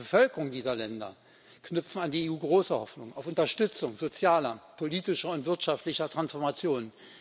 Die Bevölkerungen dieser Länder knüpfen an die EU große Hoffnungen auf Unterstützung sozialer, politischer und wirtschaftlicher Transformationen.